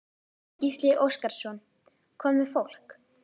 Gísli Óskarsson: Hvað með fólk?